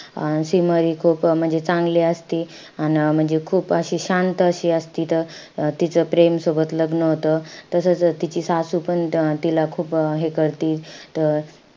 अं सिमर हि खूप म्हणजे चांगली असती. अन म्हणजे खूप अशी शांत अशी असती. त तीचं प्रेम सोबत लग्न होतं. तसंच तिची सासू पण तिला खूप हे करती. त,